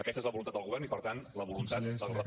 aquesta és la voluntat del govern i per tant la voluntat